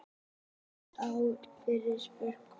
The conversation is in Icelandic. Gert er ráð fyrir frekari fjölgun